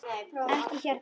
Ekki hérna!